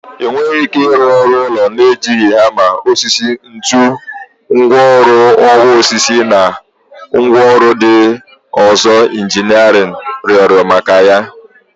Ị nweghị ike ịrụ ụlọ na-ejighị hama, osisi, ntu, ngwaọrụ ọwa osisi na ngwaọrụ ndị ọzọ injinia rịọrọ maka ya.